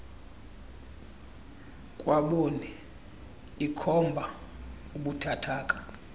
kwaboni ikhomba ubuthathaka